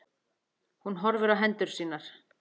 Hún horfir á hendur sínar.